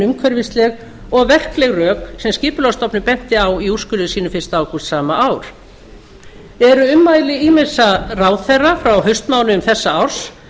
umhverfisleg og verkleg rök sem skipulagsstofnun benti á í úrskurði sínum fyrsta ágúst sama ár eru ummæli ýmissa ráðherra frá haustmánuðum þessa árs